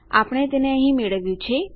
આપણે તેને અહીં મેળવ્યું છે